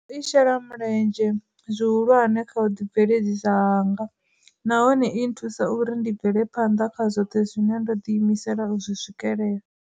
I shela mulenzhe zwi hulwane kha u ḓi bveledzisa hanga nahone i nthusa uri ndi bvele phanḓa kha zwoṱhe zwine ndo ḓi imisela u zwi swikelela.